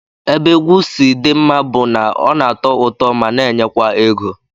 Ebe egwu si dị mma mma bụ na ọ na-atọ ụtọ ma na-enyekwa ego